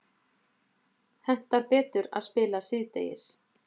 Hentar betur að spila síðdegis